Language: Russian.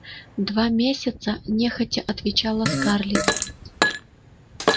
два месяца нехотя отвечала скарлетт